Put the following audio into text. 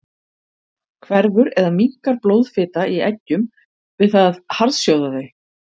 Hverfur eða minnkar blóðfita í eggjum við það að harðsjóða þau?